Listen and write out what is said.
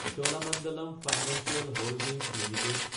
Cholamandalam financial holdings Ltd